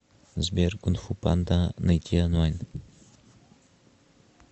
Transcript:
сбер кун фу панда найти онлайн